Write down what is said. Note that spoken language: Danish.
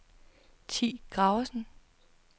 Thi Graversen